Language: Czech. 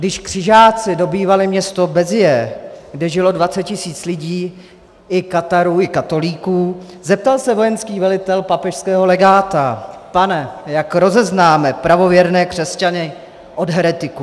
Když křižáci dobývali město Béziers, kde žilo 20 tisíc lidí, i katarů, i katolíků, zeptal se vojenský velitel papežského legáta: "Pane, jak rozeznáme pravověrné křesťany od heretiků?"